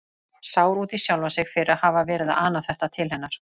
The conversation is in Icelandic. Sár út í sjálfan sig fyrir að hafa verið að ana þetta til hennar.